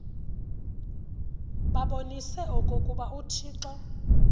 babonise okokuba uthixo